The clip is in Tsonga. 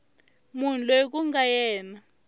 munhu loyi ku nga yena